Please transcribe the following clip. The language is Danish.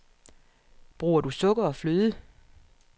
Bruger du sukker og fløde?